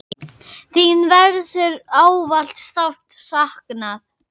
Þín verður ávallt sárt saknað.